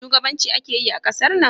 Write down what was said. Shugabanci ake yi a ƙasar nan?